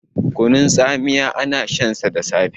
kunun tsamiya ana shansa da safe